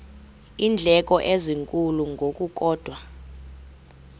iindleko ezinkulu ngokukodwa